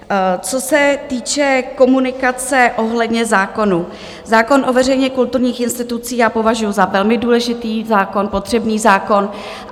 Co se týče komunikace ohledně zákonů, zákon o veřejně kulturních institucích já považuju za velmi důležitý zákon, potřebný zákon.